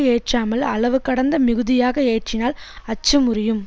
ஏற்றாமல் அளவு கடந்து மிகுதியாக ஏற்றினால் அச்சு முறியும்